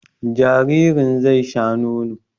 Jaririn zai sha nono